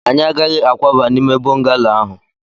anyị agaghị akwaba n'ime bọngalo ahụ